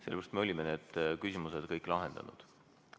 Sellepärast, et me olime need küsimused kõik lahendanud.